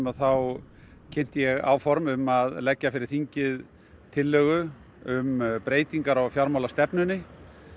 að þá kynnti ég áform um að leggja fyrir þingið tillögu um breytingar á fjármálastefnunni